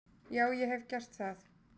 Já ég hef gert það.